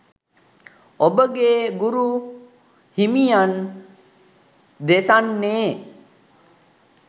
ඔබගේ ගුරු හිමියන් දෙසන්නේ